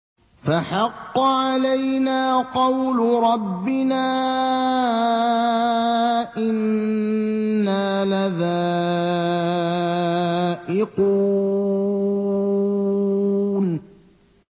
فَحَقَّ عَلَيْنَا قَوْلُ رَبِّنَا ۖ إِنَّا لَذَائِقُونَ